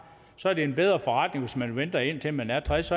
så er det en bedre forretning hvis man venter indtil man er tres